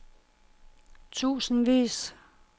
tusindvis